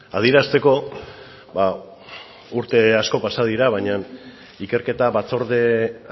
adierazteko urte asko pasa direla baina ikerketa batzorde